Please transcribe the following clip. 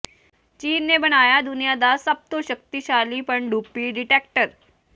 ਚੀਨ ਨੇ ਬਣਾਇਆ ਦੁਨੀਆ ਦਾ ਸਭ ਤੋਂ ਸ਼ਕਤੀਸ਼ਾਲੀ ਪਣਡੁੱਬੀ ਡਿਟੈਕਟਰ